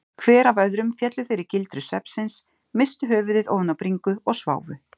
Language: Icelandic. Hver af öðrum féllu þeir í gildru svefnsins, misstu höfuðið ofan á bringu og sváfu.